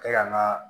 Ka n ka